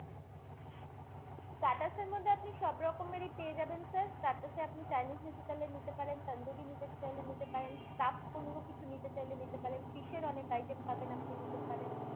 starters এর মধ্যে আপনি সবরকমেরই পেয়ে যাবেন sir। starters এ আপনি Chinese নিতে চাইলে নিতে পারেন, তান্দুরি নিতে চাইলে নিতে পারেন, stuffed কোনো কিছু নিতে চাইলে নিতে পারেন, fish এর অনেক item পাবেন আপনি নিতে পারেন।